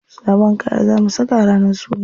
Sabon kaya za mu saka ranar suna.